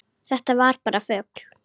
Þetta var bara fugl!